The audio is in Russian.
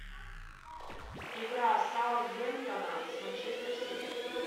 игра саутгемптона с манчестер сити